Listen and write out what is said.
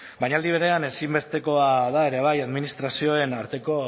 baina aldi berean ezinbestekoa da ere bai administrazioen arteko